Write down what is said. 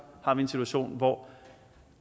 har vi en situation hvor